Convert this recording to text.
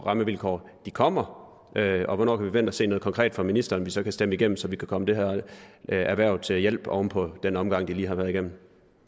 rammevilkår kommer og hvornår vi kan forvente at se noget konkret fra ministeren som vi så kan stemme igennem så vi kan komme det her erhverv til hjælp oven på den omgang de lige har været igennem